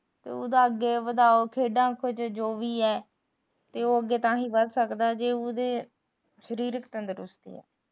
ਉਹਦਾ ਅੱਗੇ ਵਧਾਉ ਖੇਡਾ ਵਿੱਚ ਜੋ ਵੀ ਐ ਉਹ ਅੱਗੇ ਤਾਂ ਹੀ ਵਧ ਸਕਦਾ ਜੇ ਉਹਦੇ ਸਰੀਰਕ ਤੰਦਰੁਸਤੀ ਐ